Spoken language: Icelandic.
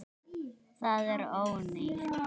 Það er allt ónýtt.